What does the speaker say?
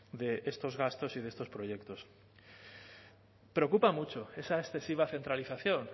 de estos gastos y de estos proyectos preocupa mucho esa excesiva centralización